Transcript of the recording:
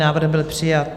Návrh byl přijat.